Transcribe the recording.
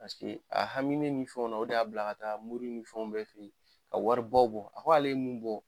Paseke a haminen nin fɛnw na o de y'a bila ka taa mori ni fɛnw bɛɛ fɛ yen, ka wari baw bɔ. A ko ale ye mun bɔ